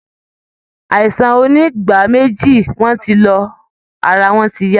Àisàn onígbáméjì wọn ti lọ, ara wọn ti yá